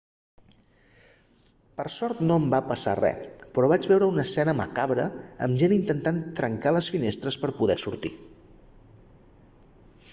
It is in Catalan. per sort no em va passar res però vaig veure una escena macabra amb gent intentant trencar les finestres per poder sortir